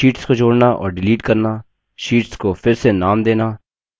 sheets को जोड़ना और डिलीट करना शीट्स को फिर से नाम देना